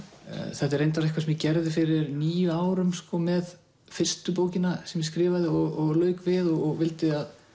þetta er reyndar eitthvað sem ég gerði fyrir níu árum með fyrstu bókina sem ég skrifaði og lauk við og vildi að